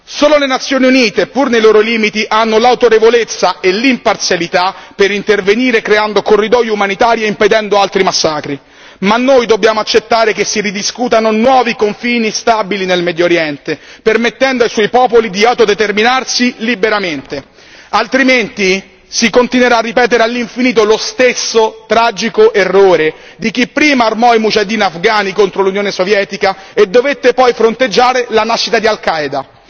Solo le Nazioni Unite, pur nei loro limiti, hanno l'autorevolezza e l'imparzialità per intervenire creando corridoi umanitari e impedendo altri massacri, ma noi dobbiamo accettare che si ridiscutano nuovi confini stabili nel Medio Oriente, permettendo ai suoi popoli di autodeterminarsi liberamente, altrimenti si continuerà a ripetere all'infinito lo stesso tragico errore di chi prima armò i mujaheddin afghani contro l'Unione sovietica e dovette poi fronteggiare la nascita di Al Qaeda.